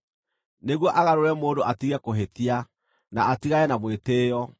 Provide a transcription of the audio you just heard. nĩguo agarũre mũndũ atige kũhĩtia, na atigane na mwĩtĩĩo,